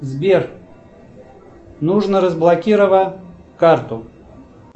сбер нужно разблокировать карту